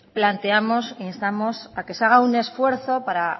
planteamos instamos a que se haga un esfuerzo para